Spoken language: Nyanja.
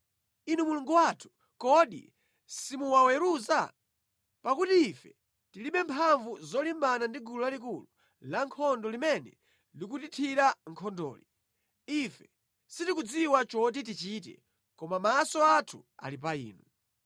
Inu Mulungu wathu, kodi simuwaweruza? Pakuti ife tilibe mphamvu zolimbana ndi gulu lalikulu lankhondo limene likutithira nkhondoli. Ife sitikudziwa choti tichite, koma maso athu ali pa Inu.”